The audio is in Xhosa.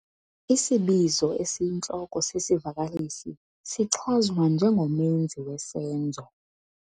Isibizo esiyintloko sesivakalisi sichazwa njengomenzi wesenzo.